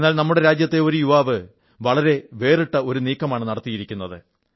എന്നാൽ നമ്മുടെ രാജ്യത്തെ ഒരു യുവാവ് വളരെ വേറിട്ട ഒരു നീക്കമാണ് നടത്തിയിരിക്കുന്നത്